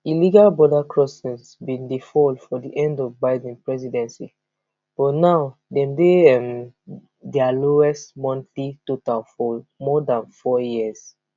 illegal border crossings bin dey fall for di end of biden presidency but now dem dey um dia lowest monthly total for more dan four years